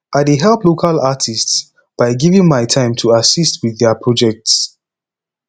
i dey help local artists by giving my time to assist with their projects